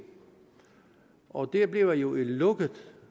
og det bliver jo et lukket